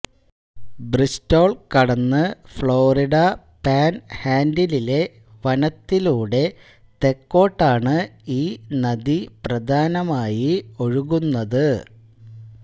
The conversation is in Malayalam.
ബ്രിസ്റ്റോൾ കടന്ന് ഫ്ലോറിഡ പാൻഹാൻഡിലിലെ വനത്തിലൂടെ തെക്കോട്ടാണ് ഈ നദി പ്രധാനമായി ഒഴുകുന്നത്